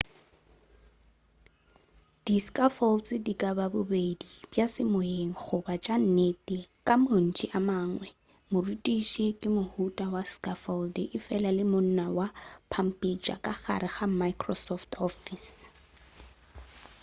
di scaffolds di ka ba bobedi bja semoyeng goba tša nnete ka mantšu a mangwe morutiši ke mohuta wa scaffold efela le monna wa pampitša ka gare ga microsoft office